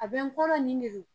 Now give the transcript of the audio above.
A bɛ n kɔrɔ nin de don.